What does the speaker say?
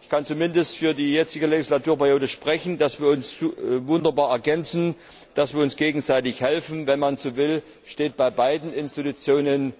Ich kann zumindest für die jetzige Legislaturperiode sagen, dass wir uns wunderbar ergänzen, dass wir uns gegenseitig helfen. Wenn man so will, stehen bei beiden Institutionen